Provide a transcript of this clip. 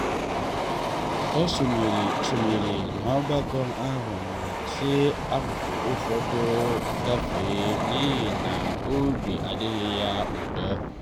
ọ sonyere sonyere n’ogbako ahụ ma si akụkụ ụfọdụ gafe n’ihi na obi adịghị ya ụtọ.